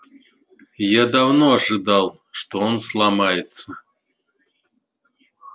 я давно ожидал что он сломается